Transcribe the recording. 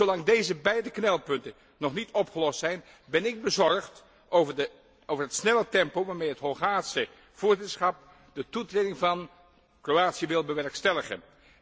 Zolang deze beide knelpunten nog niet opgelost zijn, ben ik bezorgd over het snelle tempo waarmee het Hongaarse voorzitterschap de toetreding van Kroatië wil bewerkstelligen.